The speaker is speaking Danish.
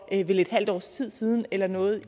vel et halvt års tid siden eller noget